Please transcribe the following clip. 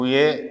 U ye